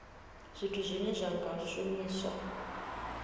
zwithu zwine zwa nga shumiswa